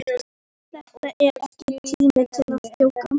En þetta er ekki tíminn til að djóka.